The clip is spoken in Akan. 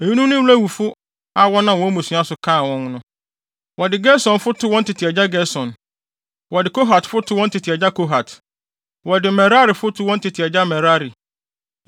Eyinom ne Lewifo a wɔnam wɔn mmusua so kan wɔn: Wɔde Gersonfo too wɔn tete agya Gerson. Wɔde Kohatfo too wɔn tete agya Kohat. Wɔde Merarifo too wɔn tete agya Merari.